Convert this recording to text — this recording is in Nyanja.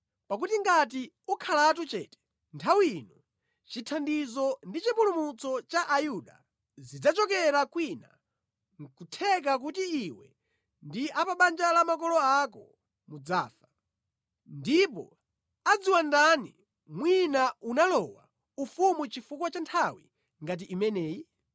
Pakuti ngati ukhalatu chete nthawi ino, chithandizo ndi chipulumutso cha Ayuda zidzachokera kwina nʼkutheka kuti iwe ndi a pa banja la makolo ako mudzafa. Ndipo adziwa ndani mwina unalowa ufumu chifukwa cha nthawi ngati imeneyi?”